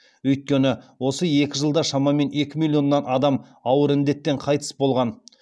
өйткені осы екі жылда шамамен екі миллионнан адам ауыр індеттен қайтыс болған